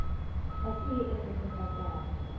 ga se ye e kgotsofatšago